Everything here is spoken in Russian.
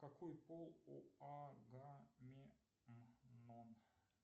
какой пол у араменнон